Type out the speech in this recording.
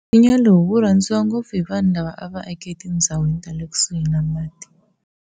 Nsinya lowu wu rhandziwa ngopfu hi vanhu lava a va ake etinzhawini ta le kusuhi ni mati.